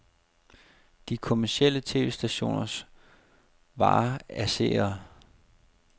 De kommercielle tv-stationers vare er seere.